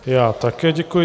Já také děkuji.